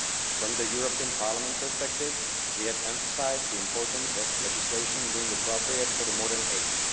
From the European Parliament perspective, we have emphasised the importance of legislation being appropriate for the modern age.